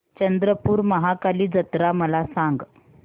चंद्रपूर महाकाली जत्रा मला सांग